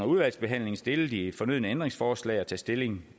udvalgsbehandlingen stille de fornødne ændringsforslag og tage stilling